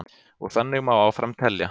Og þannig má áfram telja.